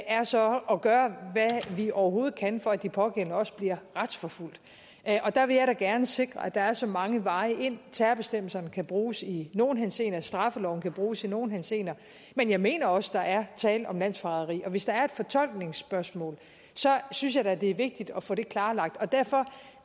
er så at gøre hvad vi overhovedet kan for at de pågældende også bliver retsforfulgt og der vil jeg da gerne sikre at der er så mange veje ind terrorbestemmelserne kan bruges i nogle henseender straffeloven kan bruges i nogle henseender men jeg mener også at der er tale om landsforræderi og hvis der er et fortolkningsspørgsmål synes jeg da det er vigtigt at få det klarlagt derfor